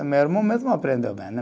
Meu irmão mesmo aprendeu bem, né